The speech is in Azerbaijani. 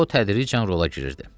O tədricən rola girirdi.